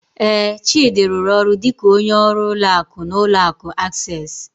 Ee, Chidi rụrụ ọrụ dịka onye ọrụ ụlọ akụ n'ụlọ akụ Access.